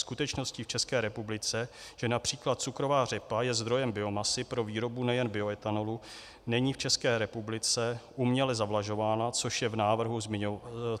Skutečností v České republice, že například cukrová řepa je zdrojem biomasy pro výrobu nejen bioetanolu, není v České republice uměle zavlažována, což v návrhu zmiňováno není.